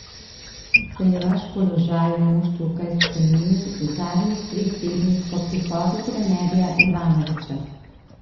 Se je vaš položaj v moštvu kaj spremenil v zadnjih treh tednih po prihodu trenerja Ivanovića?